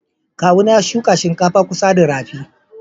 kawu na ya shuka shinkafa a kusa da rafi.